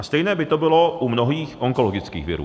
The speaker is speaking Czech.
A stejné by to bylo u mnohých onkologických virů.